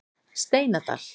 Steinadal